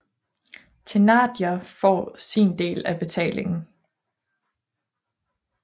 Thénardier får sin del af betalingen